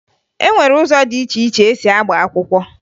E nwere ụzọ dị iche iche esi agba akwụkwọ